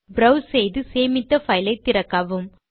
browse செய்து சேமித்த file ஐ திறக்கவும்